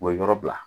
O ye yɔrɔ bila